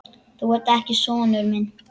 Þú ert ekki sonur minn.